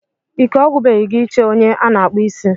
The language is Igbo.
Ike ọgwụbeghị gị ị che onye a na-akpụ isí?